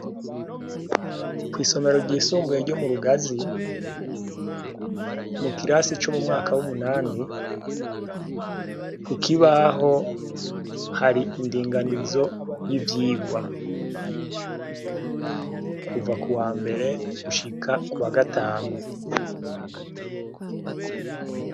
Isomero ryisumbuye ryo murugazi mukirasi co m'umwaka w'umunani kukibaho hari indinganizo y'ivyigwa kuva kuwambere gushika kuwa gatanu.